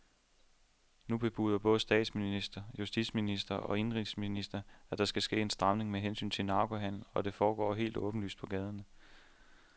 Nu bebuder både statsminister, justitsminister og indenrigsminister, at der skal ske en stramning med hensyn til narkohandelen, der foregår helt åbenlyst på gaderne.